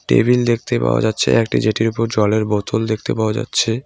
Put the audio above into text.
টেবিলে দেখতে পাওয়া যাচ্ছে। একটি জেটির উপর জলের বোতল দেখতে পাওয়া যাচ্ছে।